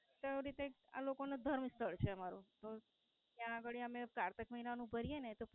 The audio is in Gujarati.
તેવી રીતે આ લોકો નું ધર્મસ્થળ છે અમારું. ત્યાં ગાળી અમે કારતક મહિનાનું ભરીયે ને